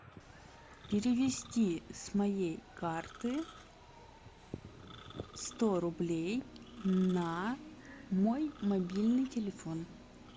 перевести с моей карты сто рублей на мой мобильный телефон